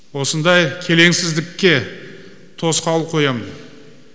осындай келеңсіздікке тосқауыл қоямын